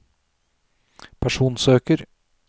personsøker